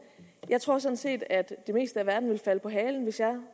jeg tror sådan set at det meste af verden ville falde på halen hvis jeg